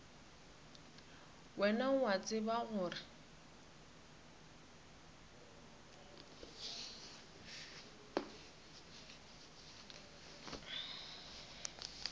wena o a tseba gore